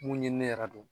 Mun ɲinini yɛrɛ don